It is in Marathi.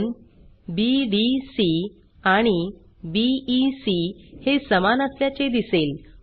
कोन बीडीसी आणि बीईसी हे समान असल्याचे दिसेल